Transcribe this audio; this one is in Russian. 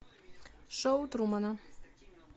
шоу трумана